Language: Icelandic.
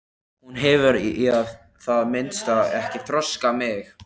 Hún hefur í það minnsta ekki þroskað mig.